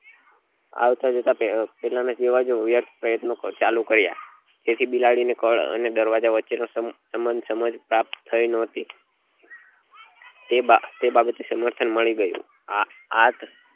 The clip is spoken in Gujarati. આવતા જતા જ પહેલા ના જેવા જ વ્યર્થ પ્રયત્નો ચાલુ કર્યા તેથી બિલાડી ને કળ અને દરવાજા વચે નો સંબંધ સમજ પ્રાપ્ત થઇ ને તે બાબત નું સમર્થન મળી ગયું